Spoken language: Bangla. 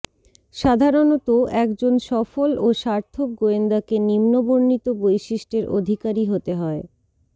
সাধারণতঃ একজন সফল ও স্বার্থক গোয়েন্দাকে নিম্নবর্ণিত বৈশিষ্ট্যের অধিকারী হতে হয়ঃ